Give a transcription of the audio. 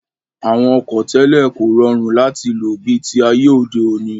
Àwọn ọkọ̀ tẹ́lẹ̀ kò rọrùn láti lò bi ti ayé òde òní